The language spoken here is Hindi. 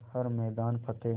कर हर मैदान फ़तेह